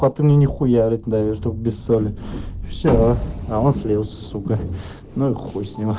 то то мне не хуярит да вертух без соли все а он слился сука ну и хуй с ним